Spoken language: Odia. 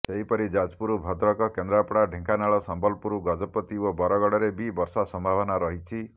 ସେହିପରି ଯାଜପୁର ଭଦ୍ରକ କେନ୍ଦ୍ରାପଡା ଢେଙ୍କାନାଳ ସମ୍ବଲପୁର ଗଜପତି ଓ ବରଗଡରେ ବି ବର୍ଷା ସମ୍ଭାବନା ରହିଛି